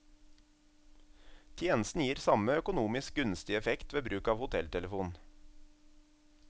Tjenesten gir samme økonomisk gunstige effekt ved bruk av hotelltelefon.